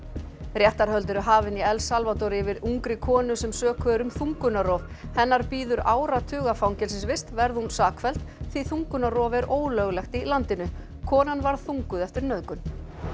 réttarhöld eru hafin í El Salvador yfir ungri konu sem sökuð er um þungunarrof hennar bíður áratuga fangelsisvist verði hún sakfelld því þungunarrof er ólöglegt í landinu konan varð þunguð eftir nauðgun